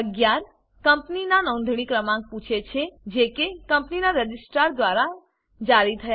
11 કંપનીનાં નોંધણી ક્રમાંક પૂછે છે જે કે કંપનીનાં રજિસ્ટ્રાર દ્વારા જારી થયા